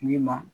Ni ma